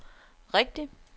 rigtigt